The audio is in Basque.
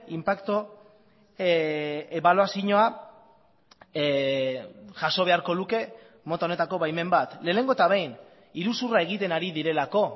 inpaktu ebaluazioa jaso beharko luke mota honetako baimen bat lehenengo eta behin iruzurra egiten ari direlako